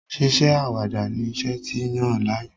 Ṣíṣe àwàdà ni iṣẹ́ ti yàn láàyò.